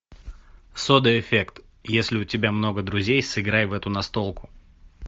сода эффект если у тебя много друзей сыграй в эту настолку